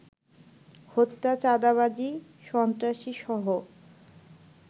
হত্যা, চাঁদাবাজি, সন্ত্রাসীসহ